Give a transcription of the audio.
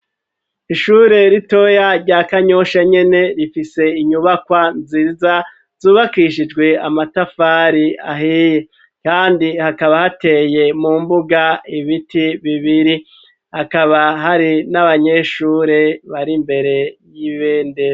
Ishure ritoya rya kanyosha nyene, rifise inyubakwa nziza zubakishijwe amatafari ahiye ,kandi hakaba hateye mu mbuga ibiti bibiri, hakaba hari n'abanyeshure bari mbere y'ibendera.